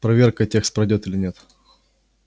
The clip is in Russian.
проверка текст пройдёт или нет